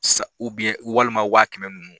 Sa walima waa kɛmɛ nunnu.